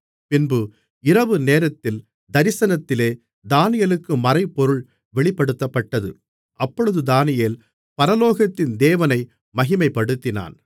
பின்பு இரவுநேரத்தில் தரிசனத்திலே தானியேலுக்கு மறைபொருள் வெளிப்படுத்தப்பட்டது அப்பொழுது தானியேல் பரலோகத்தின் தேவனை மகிமைப்படுத்தினான்